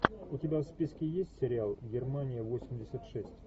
у тебя в списке есть сериал германия восемьдесят шесть